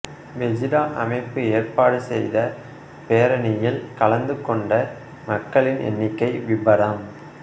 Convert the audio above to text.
Pegida அமைப்பு ஏற்பாடு செய்த பேரணியில் கலந்து கொண்ட மக்களின் எண்ணிக்கை விபரம்